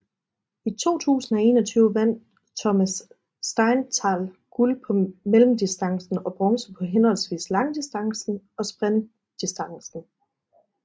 I 2021 vandt Thomas Steinthal guld på mellemdistancen og bronze på henholdsvis langdistancen og sprintdistancen